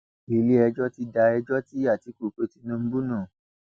iléẹjọ ti da ẹjọ tí àtìkú pe tinubu nù